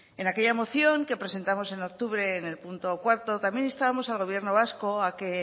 en aquella moción que presentamos en octubre en el punto cuatro también instábamos al gobierno vasco a que